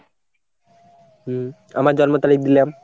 হম আমার জন্ম তারিখ দিলাম।